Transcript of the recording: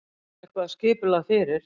Þar er eitthvað skipulag fyrir.